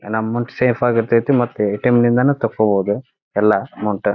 ನಮ್ amount safe ಆಗಿ ಇರ್ತತ್ತಿ ಮತ್ತೆ ಎ ಟಿ ಎಂ ಯಿಂದಾನೂ ತಕ್ಕೊಬಹುದು ಎಲ್ಲ ಅಮೌಂಟ್ .